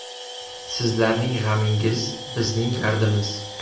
Sizlarning g‘amingiz bizning dardimiz.